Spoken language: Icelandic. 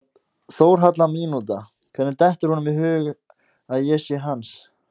„Þórhalla mínúta“ Hvernig dettur honum í hug að ég sé hans?